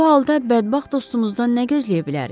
Bu halda bədbəxt dostumuzdan nə gözləyə bilərik?